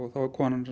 þá er konan